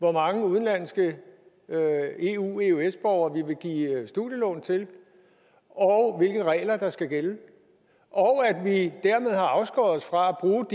hvor mange udenlandske eu eøs borgere vi vil give studielån til og hvilke regler der skal gælde og at vi dermed har afskåret os fra